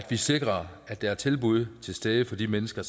sikrer at der er tilbud til stede for de mennesker